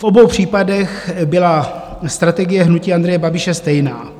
V obou případech byla strategie hnutí Andreje Babiše stejná;